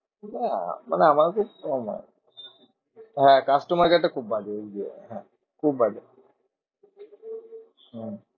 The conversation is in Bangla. না আমাদের তো নয় হ্যাঁ customer care টা খুব বাজে ওই যে হ্যাঁ খুব বাজে। হম